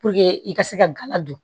i ka se ka gala don